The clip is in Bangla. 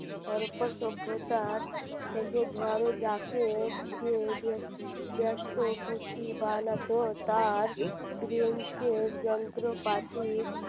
সভ্যতার থেকে ধরো যাকে যে যে ব্যস্ত পুতি বানাতো তার যন্ত্রপাতি